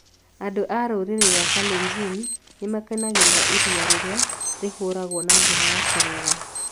Andũ a rũrĩrĩ rwa Kalenjin nĩ makenagĩra iria rĩrĩa rĩhũragwo na njĩra ya kũruga.